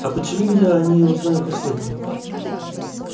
а почему я о ней узнаю последний